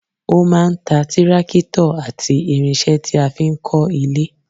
O máa ń ta tírákítọ̀ àti irinṣẹ́ tí a fi ń kọ́ ilé